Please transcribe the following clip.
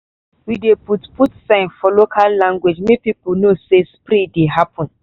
we dey put put sign for local language make people know say spray dey happen.